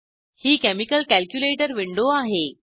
ही chemical calculator window आहे